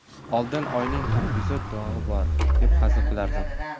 Oldin oyning ham yuzida dog‘i bor, deb hazil qilardim.